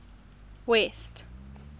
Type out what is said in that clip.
west